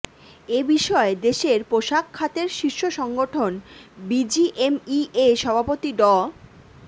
এ বিষয়ে দেশের পোশাক খাতের শীর্ষ সংগঠন বিজিএমইএ সভাপতি ড